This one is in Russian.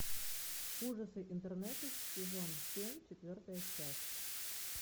ужасы интернета сезон семь четвертая часть